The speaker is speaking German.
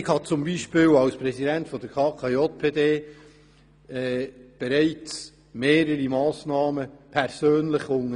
Als Präsident der KKJPD habe ich bereits persönlich mehrere Massnahmen unternommen.